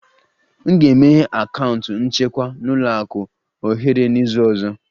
M ga-emeghe akaụntụ nchekwa na ụlọ akụ ohere n'izu ọzọ